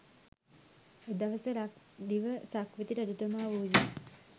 එදවස ලක්දිව සක්විති රජතුමා වූයේ